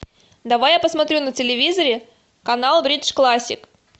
давай я посмотрю на телевизоре канал бридж классик